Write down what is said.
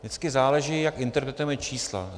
Vždycky záleží, jak interpretujeme čísla.